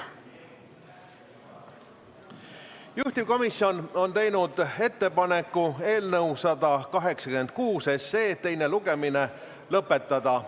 Juhtivkomisjon on teinud ettepaneku eelnõu 186 teine lugemine lõpetada.